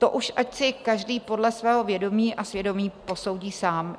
To už ať si každý podle svého vědomí a svědomí posoudí sám.